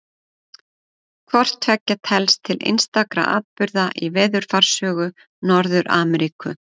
Hvort tveggja telst til einstakra atburða í veðurfarssögu Norður-Ameríku.